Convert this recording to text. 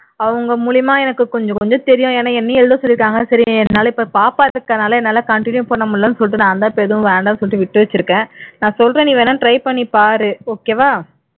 அவங்க மூலமா எனக்கு கொஞ்சகொஞ்சம் தெரியும் ஏன்னா என்னையும் எழுத சொல்லிட்டாங்க என்னால இப்போ பாப்பா இருக்கிறதுனால என்னால continue பண்ண முடியலைன்னு சொல்லிட்டு நான் தான் இப்போ வேணாம்னு சொல்லிட்டு விட்டு வச்சிருக்கேன் நான் சொல்றேன் நீ வேண்ணா try பண்ணிப்பாரு okay வா